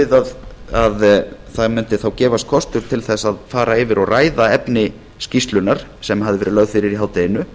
við að þá gæfist kostur á því að fara yfir og ræða efni skýrslunnar sem hafði verið lögð fyrir í hádeginu